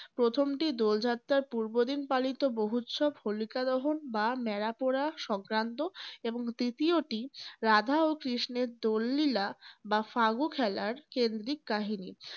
প্রথমটি দোলযাত্রার পূর্ব দিন পালিত বহ্নুৎসব হোলিকাদহন বা ন্যাড়া পোড়া সংক্রান্ত। এবং তৃতীয়টি রাধা ও কৃষ্ণের দোল লীলা বা ফাগু খেলার কেন্দ্রিক কাহিনী।